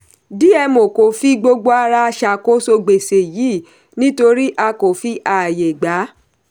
dmo kò fi gbogbo ara ṣàkóso gbèsè yìí nítorí a kò fi ààyè gba.